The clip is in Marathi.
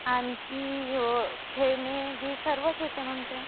आणखी खेळणी ही सर्व तिथं भेटतात म्हणते